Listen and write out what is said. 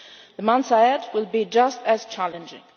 The months ahead will be just as challenging.